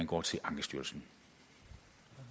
gå til ankestyrelsen